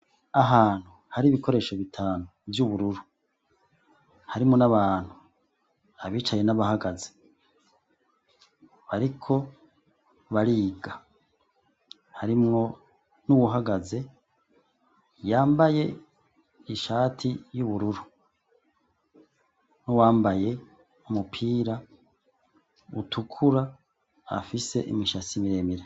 Ahantu hari ibikoresho bitanu vy'ubururu harimwo n'abantu abicaye n'abahagaze bariko bariga harimwo n'uwuhagaze yambaye ishati y'ubururu wambaye umupira utukura afise imishatsi miremira.